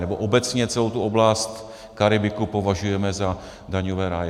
Nebo obecně celou tu oblast Karibiku považujeme za daňové ráje.